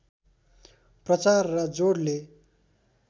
प्रचार र जोडले